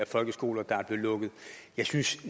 folkeskoler der er blevet lukket jeg synes